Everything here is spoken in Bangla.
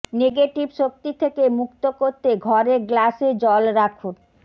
নেঘেটিভ শক্তি থেকে মুক্ত করতে ঘরে গ্লাসে জল রাখুন